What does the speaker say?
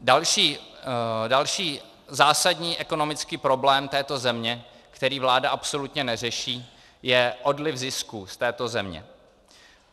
Další zásadní ekonomický problém této země, který vláda absolutně neřeší, je odliv zisků z této země.